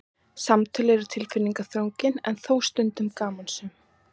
Samtöl voru tilfinningaþrungin en þó stundum gamansöm.